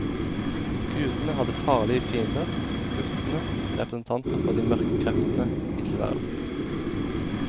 Gudene hadde farlige fiender, jotnene, representanter for de mørke kreftene i tilværelsen.